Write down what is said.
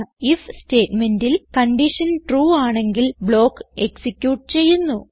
if സ്റ്റേറ്റ്മേന്റിൽ condition true ആണെങ്കിൽ block execute ചെയ്യുന്നു